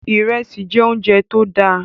Ìrẹsì jẹ́ oúnjẹ tó dáa